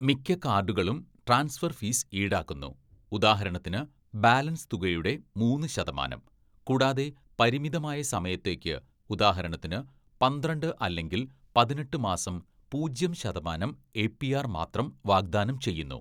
മിക്ക കാർഡുകളും transfer fees ഈടാക്കുന്നു, ഉദാഹരണത്തിന്, ബാലൻസ് തുകയുടെ മൂന്ന് ശതമാനം. കൂടാതെ പരിമിതമായ സമയത്തേക്ക് ഉദാഹരണത്തിന്, പന്ത്രണ്ട് അല്ലെങ്കില്‍ പതിനെട്ട് മാസം പൂജ്യം ശതമാനം എപിആർ മാത്രം വാഗ്ദാനം ചെയ്യുന്നു.